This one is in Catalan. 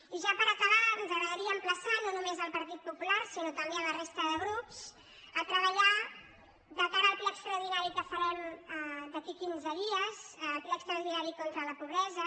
i ja per acabar ens agradaria emplaçar no només el partit popular sinó també la resta de grups a treba·llar de cara al ple extraordinari que farem d’aquí a quinze dies el ple extraordinari contra la pobresa